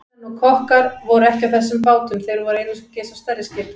Stýrimenn og kokkar voru ekki á þessum bátum, þeir voru einungis á stærri skipunum.